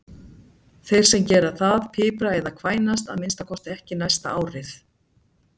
Þeir sem gera það pipra eða kvænast að minnsta kosti ekki næsta árið.